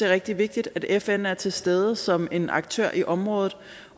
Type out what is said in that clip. rigtig vigtigt at fn er til stede som en aktør i området